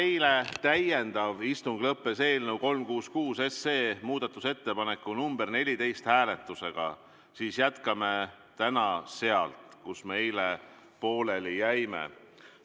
Eilne täiendav istung lõppes eelnõu 366 muudatusettepaneku nr 14 hääletusega ja täna jätkame sealt, kus me eile pooleli jäime.